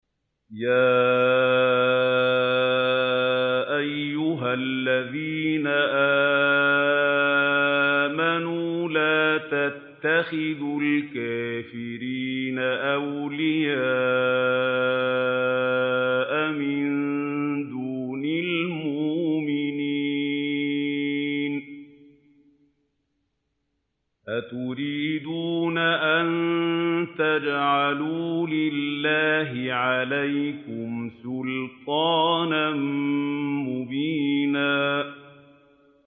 يَا أَيُّهَا الَّذِينَ آمَنُوا لَا تَتَّخِذُوا الْكَافِرِينَ أَوْلِيَاءَ مِن دُونِ الْمُؤْمِنِينَ ۚ أَتُرِيدُونَ أَن تَجْعَلُوا لِلَّهِ عَلَيْكُمْ سُلْطَانًا مُّبِينًا